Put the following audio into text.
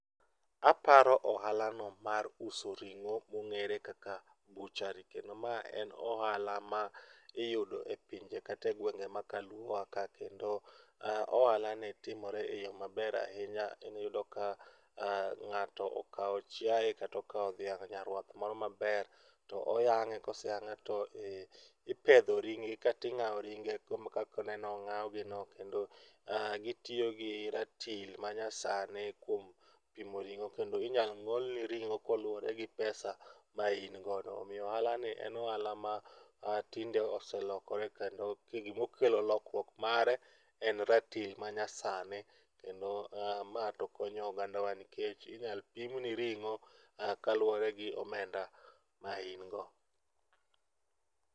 Aparo ohala no mar uso ring'o mong'ere kaka butchery kendo ma en ohala ma iyudo e pinje kata e gwenge ma ka luo wa ka kendo ohala ni timore e yoo maber ahinya. Iyudo ka ng'ato okao chiaye kata okao dhiang' nyarwath moro maber, oyang'e koseyang'e to ipedho ring' gi kata ing'aw ring' gi kaka ineno ong'aw gi ne kendo gityo gi ratil manyasani kuom pimo ring'o kendo inyal ng'ol ni ring'o kaluore gi pesa ma in godo. Omiyo ohala ni en ohala ma tinde oselokore kendo tinde gima okelo lokruok mare en ratil manyasani kendo ma to konyo oganda wa nikech inyal pim ni ring'o kaluore gi omenda ma in go